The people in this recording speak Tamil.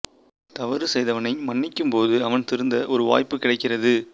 தவறு செய்தவனை மன்னிக்கும் போது அவன் திருந்த ஒரு வாய்ப்பு கிடைக்கிறது